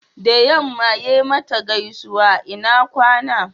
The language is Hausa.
da yamma ya mata gaisuwa ina kwana